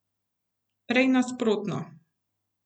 Prej nasprotno.